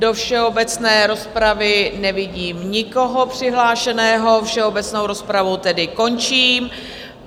Do všeobecné rozpravy nevidím nikoho přihlášeného, všeobecnou rozpravu tedy končím.